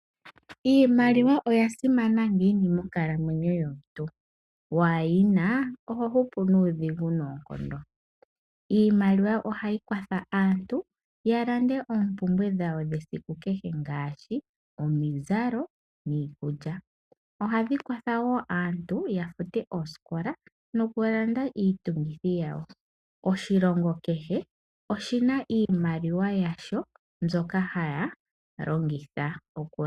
Iimaliwa oya simana monkalamwenyo yomuntu. Waa yi na, oho hupu nuudhigu noonkondo. Iimaliwa ohai kwatha aantu ya lande oompumbwe dhawo dhesiku kehe ngaashi: omizalo niikulya. Ohayi kwatha aantu yafute ooskola nokulanda iitungithi yawo. Oshilongo kehe oshina iimaliwa yasho mbyoka hashi longitha.